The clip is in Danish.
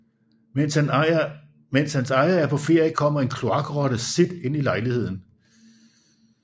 Mens hans ejer er på ferie kommer en kloakrotte Sid ind i lejligheden